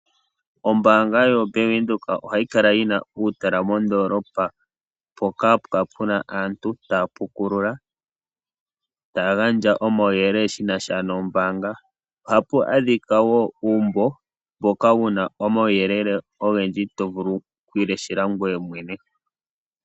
Ombanga yo Bank Widheok ohayi kala yina utala mondolopa poka hapukala puna aantu tapukulula, tangandja omawuyelele shinasha nombanga, ohapu adhika wo uumbo mboka wuna omawuyelele ongendji tovulu okwileshela ngweye mwene.